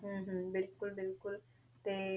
ਹਮ ਹਮ ਬਿਲਕੁਲ ਬਿਲਕੁਲ ਤੇ